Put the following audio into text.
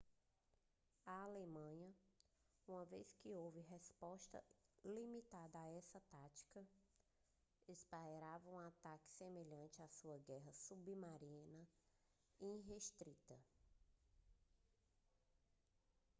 a alemanha uma vez que houve resposta limitada a essa tática esperava um ataque semelhante à sua guerra submarina irrestrita